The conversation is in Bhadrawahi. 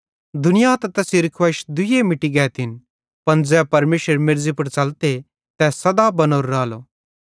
दुनिया ते तैसेरी खुवैइश दुइये मिटती गैतिन पन ज़ै परमेशरेरे मेर्ज़ी पुड़ च़लते तै सदा बनोरो रालो